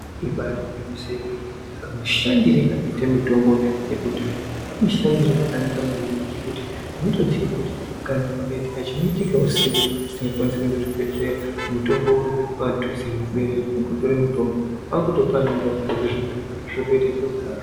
Ibari gwinyiso remene kamusahndiro kanoita mitombo yekudhaya kwakanaka maningi ngekuti kana chikaitika husiku tisingakwanisi kuenda kuchibhedhlera mutombo uri padhuze nekubereka kuongorora mutombo kwakutopa nengazi zvotoita zviro kwazvo.